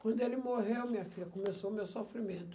Quando ele morreu, minha filha, começou o meu sofrimento.